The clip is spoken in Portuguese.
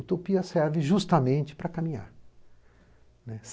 Utopia serve justamente para caminhar.